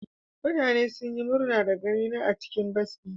Mutane sun yi murna da ganina a cikin bas dina.